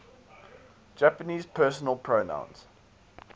japanese personal pronouns